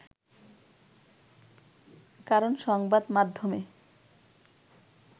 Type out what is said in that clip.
কারণ সংবাদ মাধ্যমে